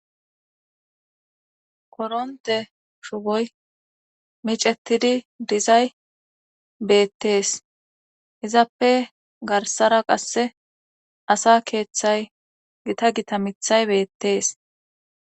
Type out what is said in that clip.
koronte shuboy micettidi dizay beettees izappe garsara qasse asa keeththay gita gita mithay beettees